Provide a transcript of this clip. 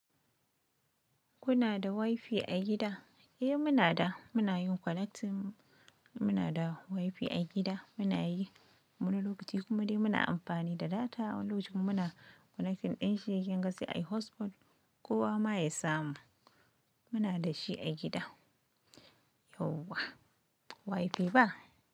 Kuna da wifi a gida? Eh muna da. Muna yin connecting, muna da wifi a gida muna yi wani lokaci kuma dai muna amfani da data wani lokacin muna connecting ɗim shi kinga sai ai hotspot kowa ma yasa mu muna da shi a gida yauwa wifi ba.